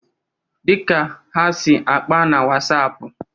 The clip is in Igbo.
Dịka ha si akpa na Wasapụ